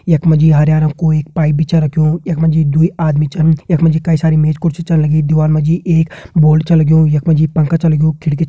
यख मा जी हरयां रंग कु एक पाइप भी छ रख्युं यख मा जी दुई आदमी छन यख मा जी कई सारी मेज कुर्सी छन लगीं दिवार मा जी एक बोर्ड छ लग्युं यख मा जी पंखा छ लग्युं खिड़की --